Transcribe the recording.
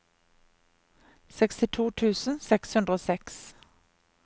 sekstito tusen seks hundre og seks